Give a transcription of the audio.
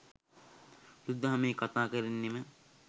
බුදු දහමේ කතාකරන්නෙම